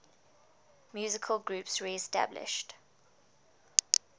musical groups reestablished